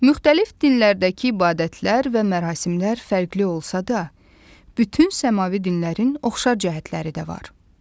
Müxtəlif dillərdəki ibadətlər və mərasimlər fərqli olsa da, bütün səmavi dinlərin oxşar cəhətləri də var.